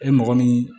E mɔgɔ min